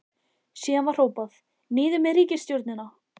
Síðan var hrópað: Niður með ríkisstjórnina!